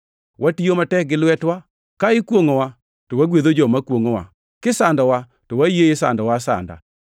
Watiyo matek gi lwetewa. Ka ikwongʼowa, to wagwedho joma kwongʼowa; kisandowa, to wayie isandowa asanda;